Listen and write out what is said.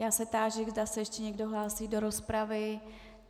Já se táži, zda se ještě někdo hlásí do rozpravy.